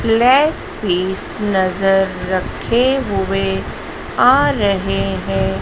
Leg piece नजर रखे हुए आ रहे हैं।